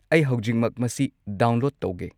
ꯑꯩ ꯍꯧꯖꯤꯛꯃꯛ ꯃꯁꯤ ꯗꯥꯎꯟꯂꯣꯗ ꯇꯧꯒꯦ꯫